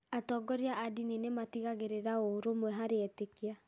Atongoria a ndini nĩ matigagĩrĩra ũrũmwe harĩ etĩkia.